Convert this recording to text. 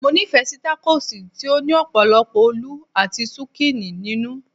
mo ni fe si takos ti o ni opolopo olu ati zucchini ninu